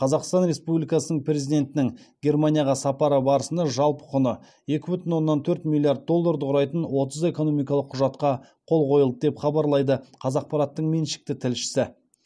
қазақстан республикасының президентінің германияға сапары барысында жалпы құны екі бүтін оннан төрт миллиард долларды құрайтын отыз экономикалық құжатқа қол қойылды деп хабарлайды қазақпараттың меншікті тілшісі